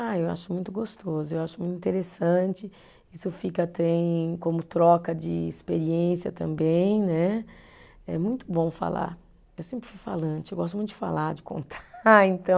Ah, eu acho muito gostoso, eu acho muito interessante, isso fica, tem como troca de experiência também, né, é muito bom falar, eu sempre fui falante, eu gosto muito de falar, de contar, então,